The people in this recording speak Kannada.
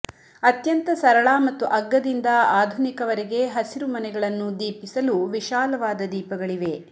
ಅತ್ಯಂತ ಸರಳ ಮತ್ತು ಅಗ್ಗದಿಂದ ಆಧುನಿಕವರೆಗೆ ಹಸಿರುಮನೆಗಳನ್ನು ದೀಪಿಸಲು ವಿಶಾಲವಾದ ದೀಪಗಳಿವೆ